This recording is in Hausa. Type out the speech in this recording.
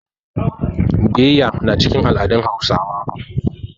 Biyayya na cikin al'adun Hausawa.